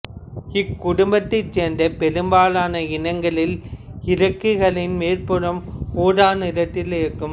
இக்குடும்பத்தைச்சேர்ந்த பெரும்பாலான இனங்களில் இறக்கைகளின் மேற்புறம் ஊதா நிறத்தில் இருக்கும்